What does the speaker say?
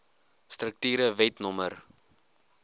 strukture wet no